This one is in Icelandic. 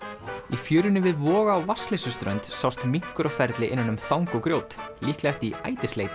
í fjörunni við Voga á Vatnsleysuströnd sást minkur á ferli innan um þang og grjót líklegast í